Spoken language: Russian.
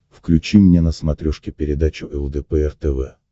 включи мне на смотрешке передачу лдпр тв